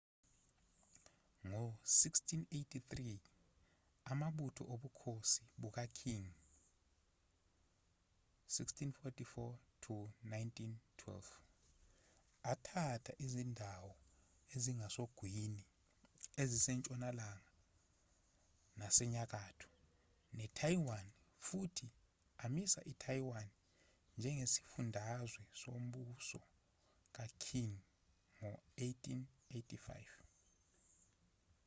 ngo-1683 amabutho obukhosi buka-qing 1644-1912 athatha izindawo ezingasogwini ezisentshonalanga nasenyakatho ne-taiwan futhi amisa i-taiwan njengesifundazwe sombuso ka-qing ngo-1885